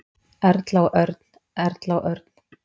Erla og Örn. Erla og Örn.